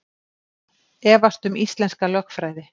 Efast um íslenska lögfræði